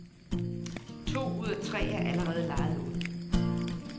To ud af tre er allerede lejet ud.